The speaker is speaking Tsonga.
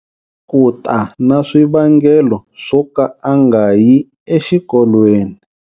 Ku ta na swivangelo swo ka a nga yi exikolweni.